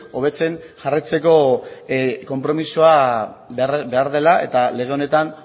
hobetzen jarraitzeko konpromisoa behar dela eta lege honetan